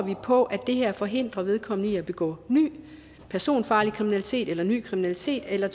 på at det her forhindrer vedkommende i at begå ny personfarlig kriminalitet eller anden ny kriminalitet eller